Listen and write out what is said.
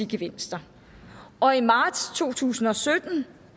gevinster og i marts to tusind og sytten